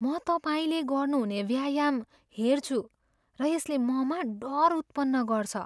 म तपाईँले गर्नुहुने व्यायाम हेर्छु र यसले ममा डर उत्पन्न गर्छ।